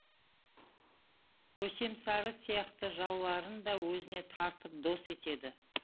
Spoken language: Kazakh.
көсемсары сияқты жауларын да өзіне тартып дос етеді